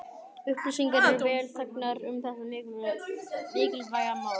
Upplýsingar eru vel þegnar um þetta mikilvæga mál.